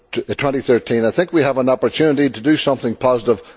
2013. I think we have an opportunity to do something positive.